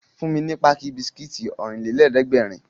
Fún mi ní páàkì bisikítì Ọ̀rìnlélẹ̀ẹ́dẹ́gbèrin!